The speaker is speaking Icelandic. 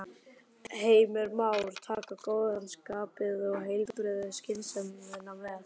Heimir Már: Taka góða skapið og heilbrigðu skynsemina með?